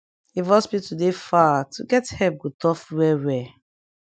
if hospital dey far to get epp go tough well well